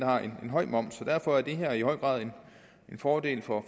har en høj moms så derfor er det her i høj grad en fordel for